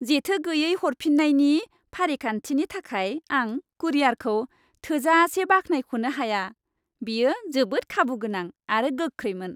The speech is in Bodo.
जेथो गैयै हरफिन्नायनि फारिखान्थिनि थाखाय आं कुरियारखौ थोजासे बाख्नायख'नो हाया, बेयो जोबोद खाबुगोनां आरो गोख्रैमोन।